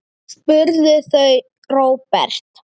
spurðu þau Róbert.